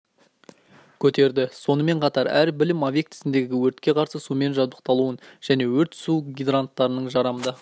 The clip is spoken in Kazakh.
көтерді сонымен қатар әр білім объектісіндегі өртке қарсы сумен жабдықталуын және өрт су гидранттарының жарамды